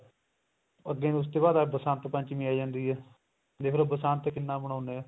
ਅੱਗੇ ਉਸ ਤੋਂ ਬਾਅਦ ਆਹ ਬਸੰਤ ਪੰਚਮੀ ਆ ਜਾਂਦੀ ਏ ਦੇਖਲੋ ਬਸੰਤ ਕਿੰਨਾ ਮਨਾਉਂਦੇ ਏ